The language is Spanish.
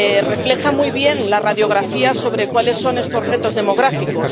refleja muy bien la radiografía sobre cuáles son estos retos demográficos.